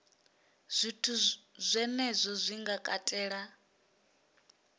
zwithu zwenezwo zwi nga katela